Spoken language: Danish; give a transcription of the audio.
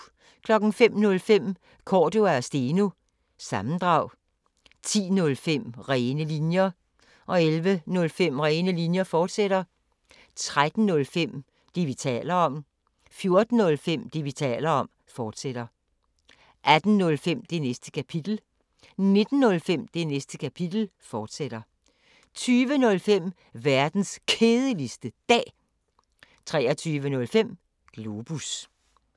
05:05: Cordua & Steno – sammendrag 10:05: Rene linjer 11:05: Rene linjer, fortsat 13:05: Det, vi taler om 14:05: Det, vi taler om, fortsat 18:05: Det Næste Kapitel 19:05: Det Næste Kapitel, fortsat 20:05: Verdens Kedeligste Dag 23:05: Globus